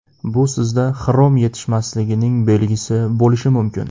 Bu sizda xrom yetishmasligining belgisi bo‘lishi mumkin.